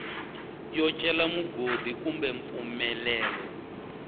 yo cela mugodi kumbe mpfumelelo